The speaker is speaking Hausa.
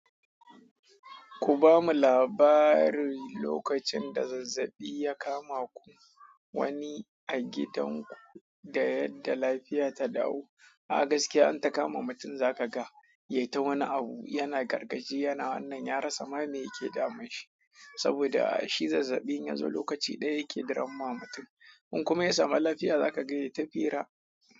Ku bamu labarin lokacin da zazzabi ya kama ku wani a gidan ku da yadda lafiya ta dawo. A gaskiya in ta kama mutum za ka ga ya yi ta wani abu, yana gargajiya na wannan, ya rasa ma meya ke damun shi. Saboda shi zazzabi ya zo lokaci ɗaya yake duramma mutum. In kuma ya samu lafiya za ka ga ya yi ta fira.